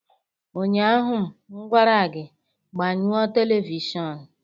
Ụnyaahụ m gwara gị, gbanyụọ telivishọn